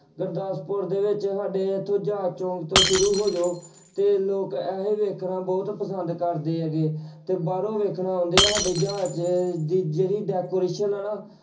ਗੁਰਦਾਸਪੁਰ ਦੇ ਵਿੱਚ ਸਾਡੇ ਇੱਥੋਂ ਜਹਾਜ਼ ਚੌਂਕ ਤੋਂ ਸ਼ੁਰੂ ਹੋ ਜਾਓ ਤੇ ਲੋਕ ਇਹ ਵੇਖਣਾ ਬਹੁਤ ਪਸੰਦ ਕਰਦੇ ਹੈਗੇ ਤੇ ਬਾਹਰੋਂ ਵੇਖਣ ਆਉਂਦੇ ਸਾਡੇ ਜਹਾਜ਼ ਦੀ ਜਿਹੜੀ decoration ਆ ਨਾ